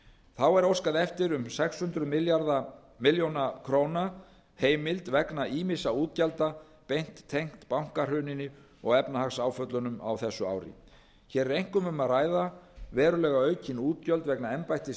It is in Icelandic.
þá er óskað er eftir um sex hundruð ár heimild vegna ýmissa útgjalda beint tengt bankahruninu og efnahagsáföllunum á þessu ári hér eru einkum um að ræða verulega aukin útgjöld vegna embættis